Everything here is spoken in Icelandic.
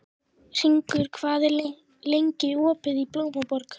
Hringur, hvað er lengi opið í Blómaborg?